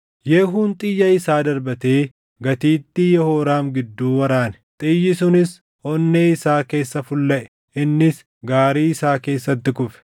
Yehuun xiyya isaa darbatee gatiittii Yehooraam gidduu waraane; xiyyi sunis onnee isaa keessa fullaʼe; innis gaarii isaa keessatti kufe.